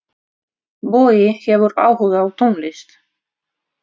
Bogi hefur áhuga á tónlist.